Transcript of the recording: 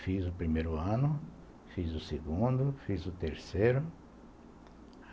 Fiz o primeiro ano, fiz o segundo, fiz o terceiro.